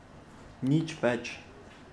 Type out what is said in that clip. Nič več.